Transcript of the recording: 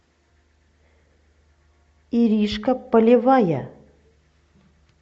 иришка полевая